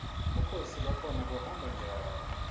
bukhosi bakhona buhamba njani